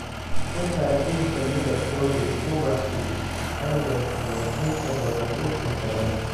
Ka saar dhirta midabkooda ubaxu ka leexdo inta badan dhirta kale.